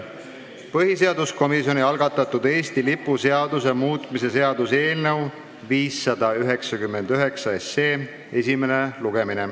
Algab põhiseaduskomisjoni algatatud Eesti lipu seaduse muutmise seaduse eelnõu 599 esimene lugemine.